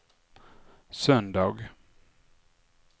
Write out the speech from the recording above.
söndag